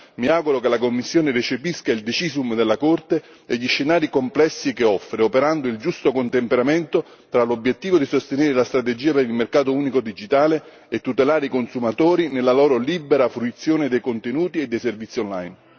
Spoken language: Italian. Mi auguro che la Commissione recepisca il decisum della Corte e gli scenari complessi che offre, operando il giusto contemperamento tra l'obiettivo di sostenere la strategia per il mercato unico digitale e tutelare i consumatori nella loro libera fruizione di contenuti e servizi online.